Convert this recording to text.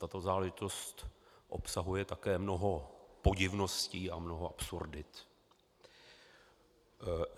Tato záležitost obsahuje také mnoho podivností a mnoho absurdit.